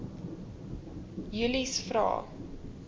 julies vra